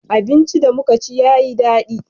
abinci da muka ci ya yi dadi